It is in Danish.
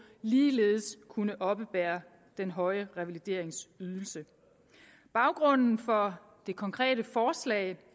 ligeledes kunne oppebære den høje revalideringsydelse baggrunden for det konkrete forslag